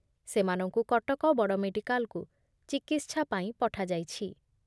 ସେମାନଙ୍କୁ କଟକ ବଡ଼ ମେଡିକାଲ୍‌କୁ ଚିକିତ୍ସା ପାଇଁ ପଠାଯାଇଛି ।